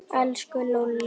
Elsku Lúlli.